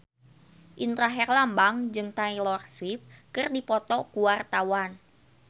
Indra Herlambang jeung Taylor Swift keur dipoto ku wartawan